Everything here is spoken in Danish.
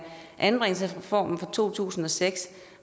anbringelsesreformen fra to tusind og seks